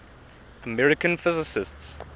american physicists